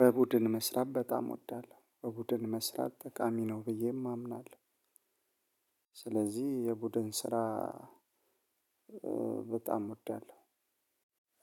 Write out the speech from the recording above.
በቡድን መስራት በጣም እወዳለሁ። በቡድን መስራት ጠቃሚ ነው ብዬም አምናለሁ። ስለዚህ የቡድን ስራ በጣም እወዳለሁ።